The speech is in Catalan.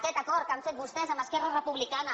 aquest acord que han fet vostès amb esquerra republicana